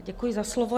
Děkuji za slovo.